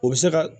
O bɛ se ka